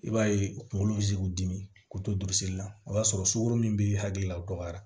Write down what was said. I b'a ye u kunkolo bɛ se k'u dimi k'u tosili la o y'a sɔrɔ sukoro min bɛ hakilila o dɔgɔya